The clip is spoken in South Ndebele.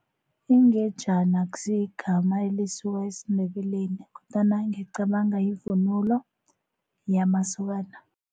Ingejana akusiyigama elisuka esiNdebeleni kodwana ngicabanga yivunulo yamasokana.